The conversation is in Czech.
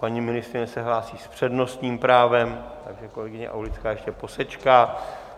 Paní ministryně se hlásí s přednostním právem, takže kolegyně Aulická ještě posečká.